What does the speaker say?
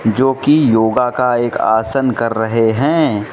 जो की योगा का एक आसन कर रहे हैं।